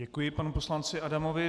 Děkuji panu poslanci Adamovi.